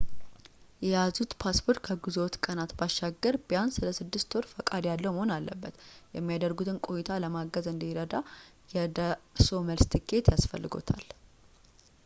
የያዙት ፓስፓርት ከጉዞዎት ቀናት ባሻገር ቢያንስ ለ6ወር ፈቃድ ያለው መሆን አለበት የሚያደርጉትን ቆይታ ለማገዝ እንዲረዳ የደርሶ መልስ ቲኬት ያስፈልጎታል